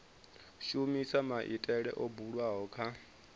shumisa maitele o bulwaho kha